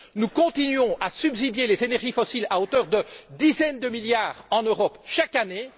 Nous continuons à subventionner les énergies fossiles à hauteur de dizaines de milliards en Europe chaque année.